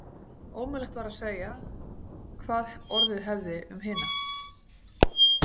Ómögulegt var að segja hvað orðið hefði um hina.